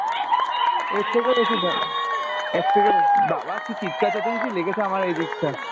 এর থেকে বড়ো, বাবা কী চিৎকার চেঁচামেচি লেগেছে আমার এদিকটা